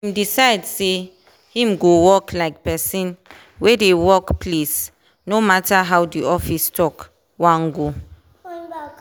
him decide say him go act like person wey dey work place no matter how the office talk wan go.